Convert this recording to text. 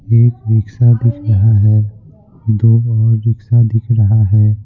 एक रिक्शा दिख रहा है दो और रिक्शा दिख रहा है।